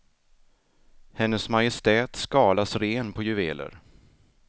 Hennes majestät skalas ren på juveler.